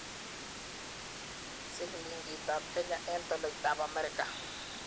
Silingiitap kenya eng' tolaitap amerika